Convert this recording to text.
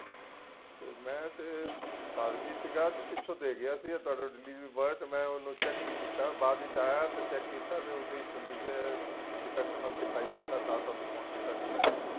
ਮੈ ਤੇ ਘਰ ਨਹੀਂ ਸੀਗਾ ਤੇ ਪਿਛੋ ਦੇ ਗਿਆ ਸੀ ਤੁਹਾਡਾ delivery boy ਮੈ ਉਹਨੂੰ check ਨਹੀਂ ਕੀਤਾ ਬਾਅਦ ਵਿੱਚ ਆਇਆ ਤੇ check ਕੀਤਾ ਤੇ defect ਮੈਨੂੰ ਦਿਖਾਈ ਦਿੱਤਾ ਤਾਂ ਤੁਹਾਨੂੰ ਫ਼ੋਨ ਕੀਤਾ ਸੀ ਮੈ